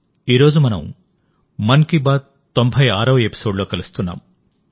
ఈ రోజు మనం మన్ కీ బాత్ తొంభై ఆరవఎపిసోడ్ లో కలుస్తున్నాం